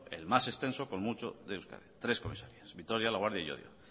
el más extenso con mucho de euskadi tres comisarías vitoria laguardia y llodio